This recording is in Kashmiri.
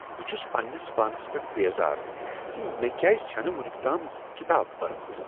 بہٕ چھس پننس پانس پیٹھ بیزار ز مےٚ کیازِ چھےٚ نہٕ ونیکتام یہ کتاب پٔرمٕژ۔